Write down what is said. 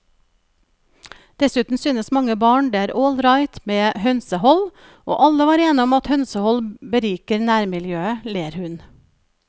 Dessuten synes mange barn det er all right med hønsehold, og alle var enige om at hønsehold beriker nærmiljøet, ler hun.